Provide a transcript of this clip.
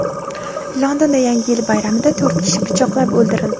Londonda Yangi yil bayramida to‘rt kishi pichoqlab o‘ldirildi.